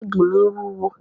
Báàgì mi wúwo.